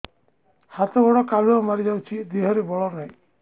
ହାତ ଗୋଡ଼ କାଲୁଆ ମାରି ଯାଉଛି ଦେହରେ ବଳ ନାହିଁ